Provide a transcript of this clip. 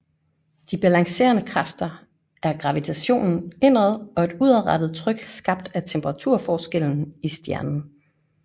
De balancerende kræfter er gravitationen indad og et udadrettet tryk skabt af temperaturforskellen i stjernen